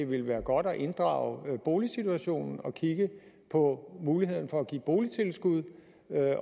ville være godt at inddrage boligsituationen og kigge på muligheden for at give boligtilskud